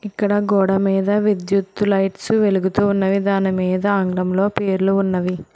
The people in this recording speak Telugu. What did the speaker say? ఇక్కడ గోడమీద విద్యుత్తు లైట్స్ వెలుగుతూ ఉన్నది దాని మీద ఆంగ్లంలో పేర్లు ఉన్నవి.